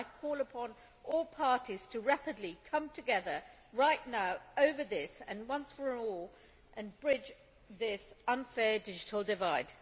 I call upon all parties to rapidly come together right now over this and, once and for all, bridge this unfair digital divide.